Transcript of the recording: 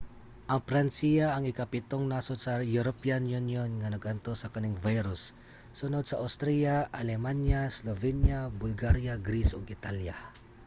ang pransiya ang ikapitung nasod sa european union nga nag-antos sa kaning virus; sunod sa austria alemanya slovenia bulgaria greece ug italya